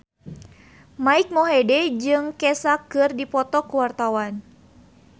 Mike Mohede jeung Kesha keur dipoto ku wartawan